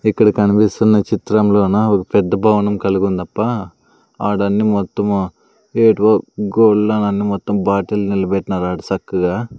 ఇక్కడ కనిపిస్తున్న చిత్రంలోనా ఓక పెద్ద భవనం కలిగుందప్ప ఆడన్ని మొత్తము ఏడు మొత్తం బాటిల్ నిల్బెట్నారు ఆడ సక్కగా--